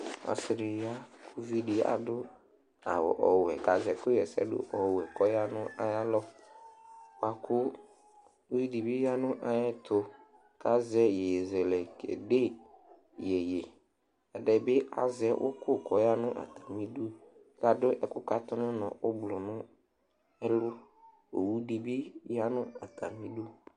Ɔsɩ dɩ ya kʋ ʋvɩ dɩ adʋ awʋ ɔwɛ kazɛ ɛkʋ ɣɛsɛdʋ ɔwɛ kɔya nʋ ayalɔ lakʋ ʋvɩ dɩ bɩ ya nʋ ayɛtu kazɛ ɩyeyezɛlɛ kedé ɩyeye ɔtabɩ azɛ ʋku kɔya nʋ atamɩdʋ tadʋ ɛku katu nʋ unɔ ogblɔ nʋ ɛlu owʋ dɩ bɩ yanʋ atamɩdʋ